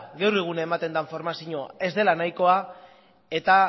gaur egun ematen den formazioa ez dela nahikoa eta